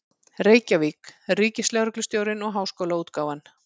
Reykjavík: Ríkislögreglustjórinn og Háskólaútgáfan.